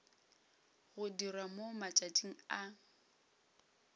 go dirwa mo matšatšing a